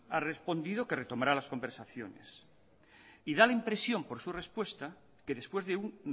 ha respondido que retomará las conversaciones y da la impresión por su respuesta que después de un